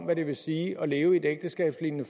hvad det vil sige at leve i et ægteskabslignende